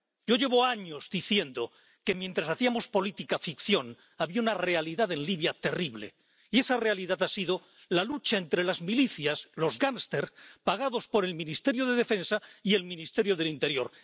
Yo llevo años diciendo que, mientras hacíamos política ficción, había una realidad en Libia terrible, y esa realidad ha sido la lucha entre las milicias, los gangsters pagados por el Ministerio de Defensa y el Ministerio del Interior.